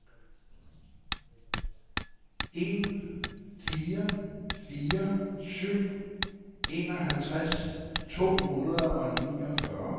en fire fire syv enoghalvtreds to hundrede og niogfyrre